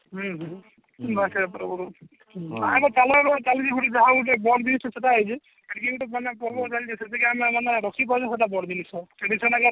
ହଁ ହଁ ଯାହା ଗୁଟେ ବଡ ଜିନିଷ ସେଟା ହେଇଛି ଗୁଟେ ପର୍ବ ଚାଲିଛି ସେତିକି ଆମେ ମାନେ ରଖି ପାରୁଛୁ ସେଟା ବଡ ଜିନିଷ